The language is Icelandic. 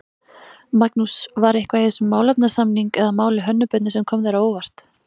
Magnús: var eitthvað í þessum málefnasamning eða máli Hönnu Birnu sem kom þér á óvart?